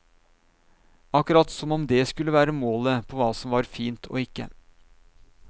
Akkurat som om det skulle være målet på hva som var fint og ikke.